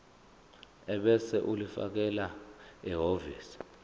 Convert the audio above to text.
ebese ulifakela ehhovisi